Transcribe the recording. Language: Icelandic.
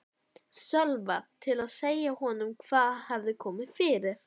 Sölva til að segja honum hvað hefði komið fyrir.